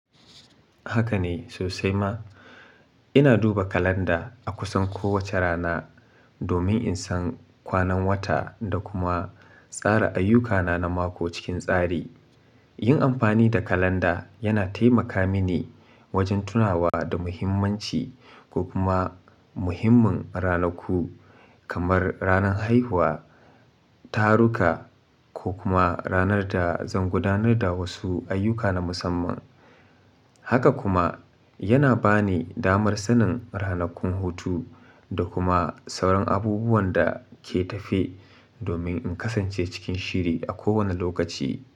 Haka ne sosai ma. Ina duba kalanda a kusan kowace rana domin in san kwanan wata da kuma tsara ayyukana na mako cikin tsari. Yin amfani da kalanda yana taimaka mini wajen tunawa da muhimmanci ko kuma muhimmin ranaku kamar ranar haihuwa, taruka ko kuma ranar da zan gudanar da wasu ayyuka na musamman. Haka kuma yana ba ni damar sanin ranakun hutu da kuma sauran abubuwan da ke tafe domin in kasance cikin shiri a kowane lokaci.